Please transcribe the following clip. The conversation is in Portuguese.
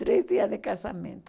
Três dias de casamento.